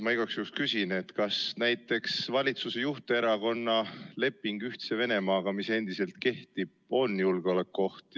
Ma igaks juhuks küsin, kas näiteks valitsuse juhterakonna leping Ühtse Venemaaga, mis endiselt kehtib, on julgeolekuoht.